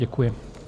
Děkuji.